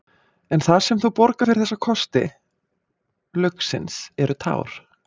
En það sem þú borgar fyrir þessa kosti lauksins eru tár.